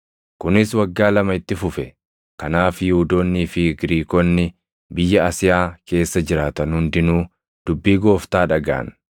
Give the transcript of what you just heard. Kunis waggaa lama itti fufe; kanaaf Yihuudoonnii fi Giriikonni biyya Asiyaa keessa jiraatan hundinuu dubbii Gooftaa dhagaʼan.